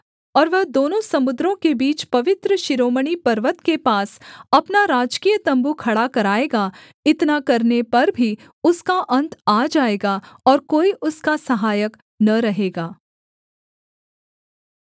और वह दोनों समुद्रों के बीच पवित्र शिरोमणि पर्वत के पास अपना राजकीय तम्बू खड़ा कराएगा इतना करने पर भी उसका अन्त आ जाएगा और कोई उसका सहायक न रहेगा